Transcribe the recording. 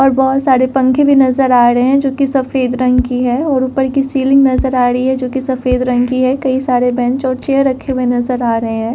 और बोहोत सारे पंखे भी नजर आ रहे हैं जो कि सफेद रंग की है और ऊपर की सीलिंग नजर आ रही है जो कि सफेद रंग की है कई सारे बेंच और चेयर रखे हुए नजर आ रहे हैं।